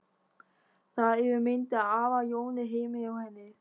Það eru myndir af afa Jóni heima hjá henni.